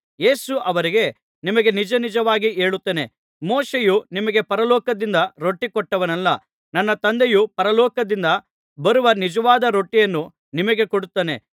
ಯೇಸು ಅವರಿಗೆ ನಿಮಗೆ ನಿಜನಿಜವಾಗಿ ಹೇಳುತ್ತೇನೆ ಮೋಶೆಯು ನಿಮಗೆ ಪರಲೋಕದಿಂದ ರೊಟ್ಟಿ ಕೊಟ್ಟವನಲ್ಲ ನನ್ನ ತಂದೆಯು ಪರಲೋಕದಿಂದ ಬರುವ ನಿಜವಾದ ರೊಟ್ಟಿಯನ್ನು ನಿಮಗೆ ಕೊಡುತ್ತಾನೆ